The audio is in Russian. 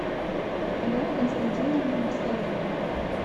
алена константиновна москаленко